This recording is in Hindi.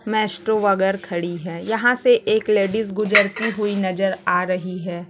मेस्ट्रो वगर खड़ी है यहाँ से एक लेडिस गुजरती हुई नजर आ रही हैं।